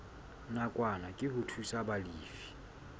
nakwana ke ho thusa balefi